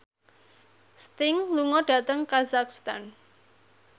Sting lunga dhateng kazakhstan